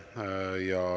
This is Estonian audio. Aitäh!